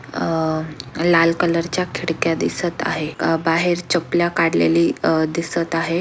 अं लाल कलर च्या खिडक्या दिसत आहे अह बाहेर चप्पला काढलेली अह दिसत आहे.